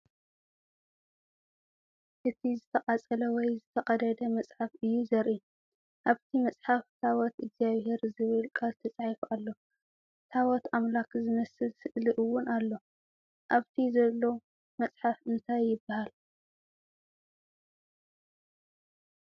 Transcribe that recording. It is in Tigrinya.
እቲ ዝተቓጸለ ወይ ዝተቐደደ መጽሓፍ እዩ ዘርኢ። ኣብቲ መጽሓፍ "ታቦት እግዚኣብሄር" ዝብል ቃል ተጻሒፉ ኣሎ፡ ታቦት ኣምላኽ ዝመስል ስእሊ እውን ኣሎ። ኣብቲ ዘሎ መጽሓፍ እንታይ ይበሃል?